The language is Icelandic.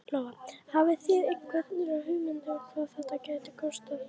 Lóa: Hafið þið einhverja hugmynd um hvað þetta gæti kostað?